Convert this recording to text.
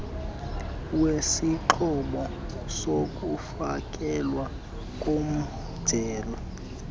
wesixhobo sokufakelwa komjelo